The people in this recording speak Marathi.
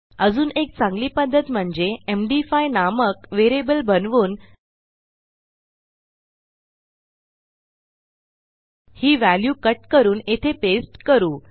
अजून एक चांगली पध्दत म्हणजे एमडी5 नामक व्हेरिएबल बनवून ही व्हॅल्यू कट करून येथे पेस्ट करू